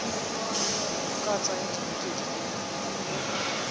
ka tsaya dibeke di le